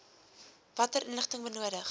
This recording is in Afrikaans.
watter inligting benodig